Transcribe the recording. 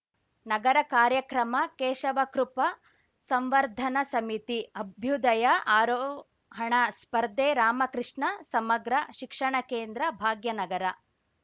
ನಗರ ಕಾರ್ಯಕ್ರಮ ಕೇಶವಕೃಪಾ ಸಂವರ್ಧನ ಸಮಿತಿ ಅಭ್ಯುದಯ ಆರೋಹಣ ಸ್ಪರ್ಧೆ ರಾಮಕೃಷ್ಣ ಸಮಗ್ರ ಶಿಕ್ಷಣ ಕೇಂದ್ರ ಭಾಗ್ಯನಗರ